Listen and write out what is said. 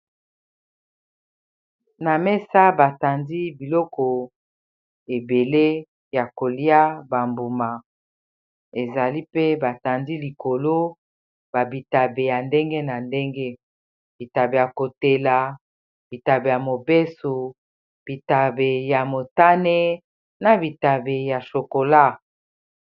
Awa ezali, esika bato bayaka kosomba ba mbuma etandami na mesa. Ezali bongo, ananas, manga, na mbuma na lopoto babengaka coeur de boeuf. Likolo nango nde ba tandi bitabe ya kotela pe ya mubesu na mususu ya motane.